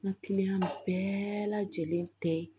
N ka bɛɛ lajɛlen tɛ